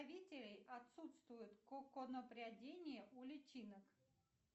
отсутствует коконопрядение у личинок